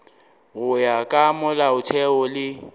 go ya ka molaotheo le